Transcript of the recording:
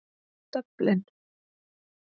Dublin